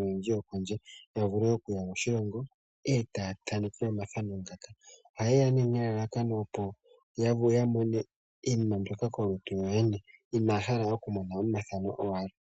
oyendji yokondje taya vulu okuya moshilongo e taya thaneke omathano ngaka. Ohaye ya nelalakano, opo ya mone iinima mbyoka kolutu kokwene inaya hala okumona owala omathano.